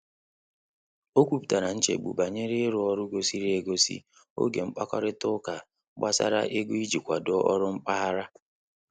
O kwuputara nchegbu banyere i ru ọru gosiiri e gosi oge mkpakorịta uka gbasara ego e ji akwado ọrụ mpaghara.